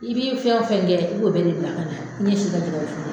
I bi fɛn o fɛn kɛ i b'o bɛɛ de bila ka na ɲɛs'i ka tika f